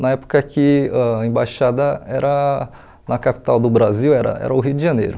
Na época que a embaixada era na capital do Brasil, era era o Rio de Janeiro.